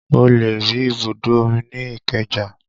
O lè rí ibùdó omi ní ìkeja